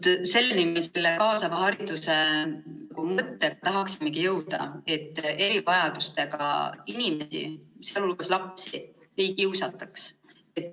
Vaat, selleni me kaasava haridusega tahaksimegi jõuda, et erivajadustega inimesi, sh lapsi, ei kiusataks.